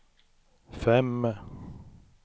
fem